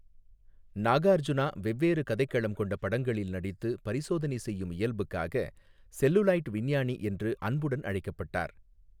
நாகார்ஜுனா வெவ்வேறு கதைக்களம் கொண்ட படங்களில் நடித்து பரிசோதனை செய்யும் இயல்புக்காக 'செல்லுலாயிட் விஞ்ஞானி' என்று அன்புடன் அழைக்கப்பட்டார்.